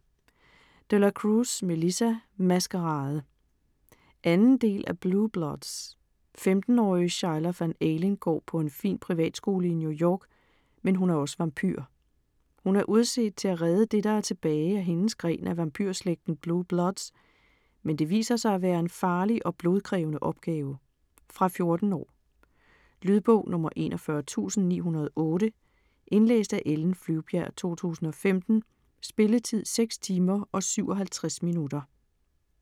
De la Cruz, Melissa: Maskerade 2. del af Blue Bloods. 15-årige Schuyler Van Alen går på en fin privatskole i New York, men hun er også vampyr. Hun er udset til at redde det, der er tilbage af hendes gren af vampyrslægten Blue Bloods, men det viser sig at være en farlig og blodkrævende opgave. Fra 14 år. Lydbog 41908 Indlæst af Ellen Flyvbjerg, 2015. Spilletid: 6 timer, 57 minutter.